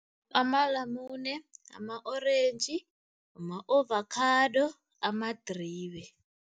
Amalamune, ama-orentji, ama-ovakhado, amadribe.